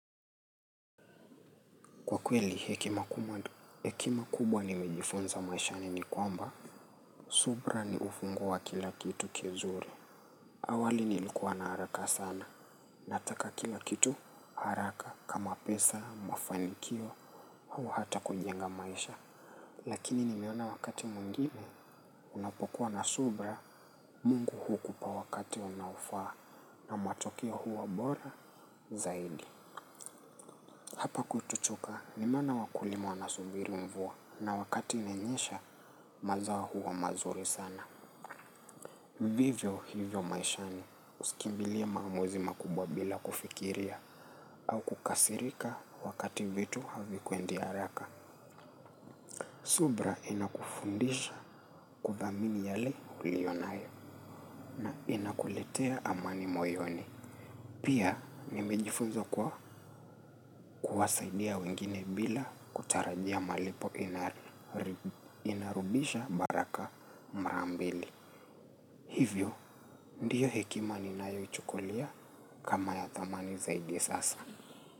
Kwa kweli hekima kubwa, hekima kubwa nimejifonza maishani ni kwamba. Subra ni ufunguo wa kila kitu kizuri. Awali nilikuwa na haraka sana. Nataka kila kitu haraka kama pesa, mafanikio, au hata kujenga maisha. Lakini nimeona wakati mwingine, unapokuwa na subra, Mungu hukupa wakati unaofaa na matokeo huwa bora zaidi. Hapa kwetu Chuka nimeona wakulima wanasubiri mvua na wakati imenyesha mazao huwa mazuri sana. Vivyo hivyo maishani usikimbilia maamuzi makubwa bila kufikiria au kukasirika wakati vitu havikwendi haraka. Subra inakufundisha kudhamini yale ulionayo na inakuletea amani moyoni. Pia nimejifunza kuwa kuwasaidia wengine bila kutarajia malipo inarudisha malipo mara mbili. Hivyo, ndiyo hekima ninayo ichukulia kama ya thamani zaidi sasa.